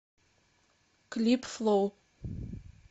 клип флоу